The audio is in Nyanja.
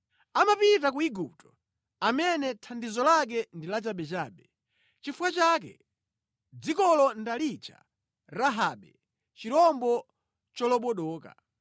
Amapita ku Igupto amene thandizo lake ndi lachabechabe. Nʼchifukwa chake dzikolo ndalitcha Rahabe chirombo cholobodoka.